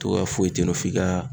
Togoya foyi te yen nɔ f'i ka